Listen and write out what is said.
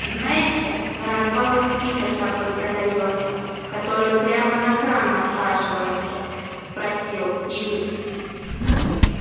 знаете на развалах фильтр такой продаётся который прямо на кран насаживается спросил игорь